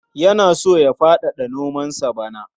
Yana so ya faɗaɗa nomansa bana.